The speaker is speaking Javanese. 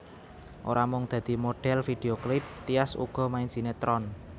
Ora mung dadi modhél video klip Tyas uga main sinetron